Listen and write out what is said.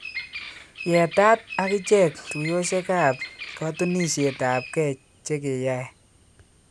Yetat akichek tuyoshek ab kotunishetabge chekeyae